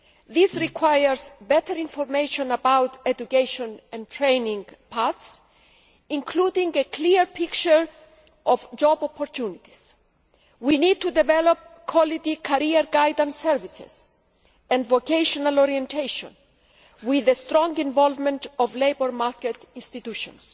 This requires better information about education and training paths, including a clear picture of job opportunities. We need to develop quality career guidance services and vocational orientation with the strong involvement of labour market institutions.